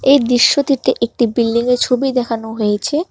এই দৃশ্যটিতে একটি বিল্ডিংয়ের ছবি দেখানো হয়েছে।